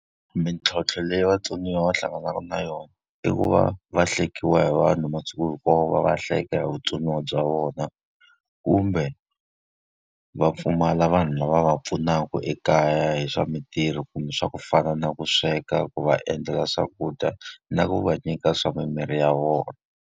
Mintlhontlho leyi vatsoniwa va hlanganaka na yona i ku va va hlekiwa hi vanhu masiku hinkwawo va va hleka hi vutsoniwa bya vona, kumbe va pfumala vanhu lava va pfunaka ekaya hi swa mintirho kumbe swa ku fana na ku sweka, ku va endlela swakudya, na ku va nyika swa mimirhi ya vona.